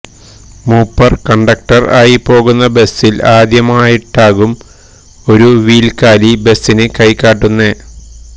മൂപ്പർ കണ്ടക്ടർ ആയിപ്പോകുന്ന ബസിൽ ആദ്യമായിട്ടാകും ഒരു വീൽക്കാലി ബസിന് കൈ കാട്ടുന്നെ